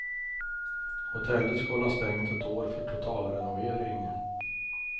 Hotellet ska hålla stängt ett år för totalrenovering.